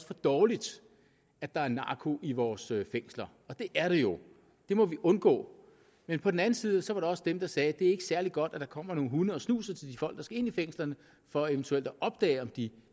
for dårligt at der er narko i vores fængsler og det er det jo det må vi undgå men på den anden side var det også dem der sagde at det ikke er særlig godt at der kommer nogle hunde og snuser til de folk der skal ind i fængslerne for eventuelt at opdage om de